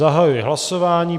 Zahajuji hlasování.